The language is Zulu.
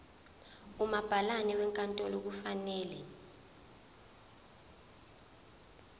umabhalane wenkantolo kufanele